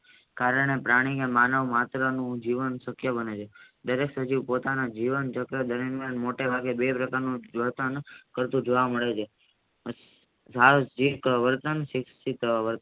કારણે પ્રાણી ને માનવ માત્ર નું જીવન શક્ય બને છે દરેક સજીવ પોતાના જીવનચક્ર દરમિયાન બે પ્રકાર નો કરતુ જોવા મળે છે સાર્વજિક વર્તન શિક્ષિત